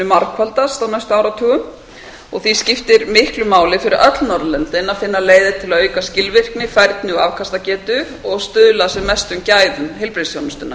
margfaldast á næstu áratugum því skiptir miklu máli fyrir öll norðurlöndin að finna leiðir til að auka skilvirkni færni og afkastagetu og stuðla að sem mestum gæðum heilbrigðisþjónustunnar